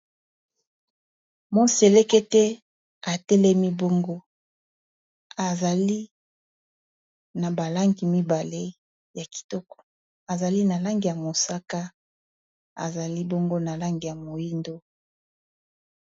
moselekete atelemi bongo, ezali na balangi mibale ya kitoko ezali na langi ya mosaka ezali bongo na langi ya moindo